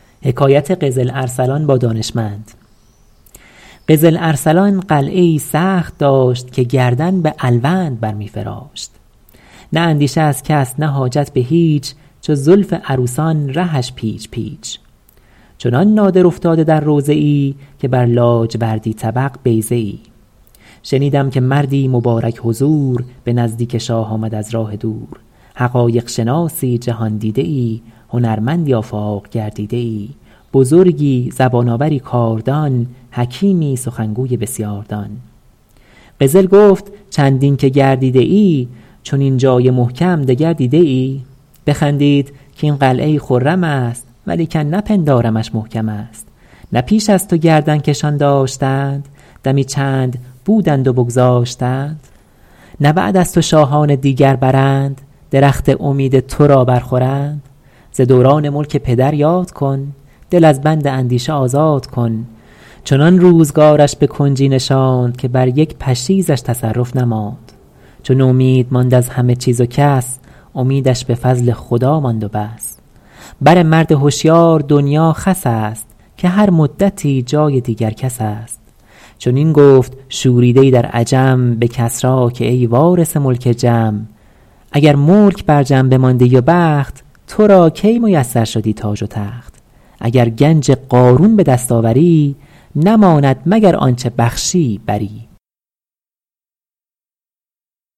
قزل ارسلان قلعه ای سخت داشت که گردن به الوند بر می فراشت نه اندیشه از کس نه حاجت به هیچ چو زلف عروسان رهش پیچ پیچ چنان نادر افتاده در روضه ای که بر لاجوردی طبق بیضه ای شنیدم که مردی مبارک حضور به نزدیک شاه آمد از راه دور حقایق شناسی جهاندیده ای هنرمندی آفاق گردیده ای بزرگی زبان آوری کاردان حکیمی سخنگوی بسیاردان قزل گفت چندین که گردیده ای چنین جای محکم دگر دیده ای بخندید کاین قلعه ای خرم است ولیکن نپندارمش محکم است نه پیش از تو گردن کشان داشتند دمی چند بودند و بگذاشتند نه بعد از تو شاهان دیگر برند درخت امید تو را بر خورند ز دوران ملک پدر یاد کن دل از بند اندیشه آزاد کن چنان روزگارش به کنجی نشاند که بر یک پشیزش تصرف نماند چو نومید ماند از همه چیز و کس امیدش به فضل خدا ماند و بس بر مرد هشیار دنیا خس است که هر مدتی جای دیگر کس است چنین گفت شوریده ای در عجم به کسری که ای وارث ملک جم اگر ملک بر جم بماندی و بخت تو را کی میسر شدی تاج و تخت اگر گنج قارون به دست آوری نماند مگر آنچه بخشی بری